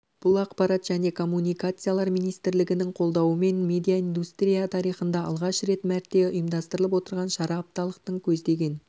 бұл ақпарат және коммуникациялар министрлігінің қолдауымен медиаиндустрия тарихында алғаш рет мәрте ұйымдастырылып отырған шара апталықтың көздеген